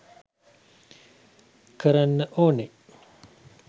කරන්න ඕනේ.